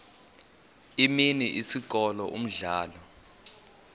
imini isikolo umdlalo